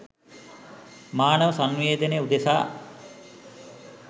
මානව සන්නිවේදනය උදෙසා